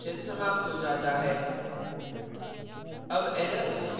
और compilation समाप्त हो जाता है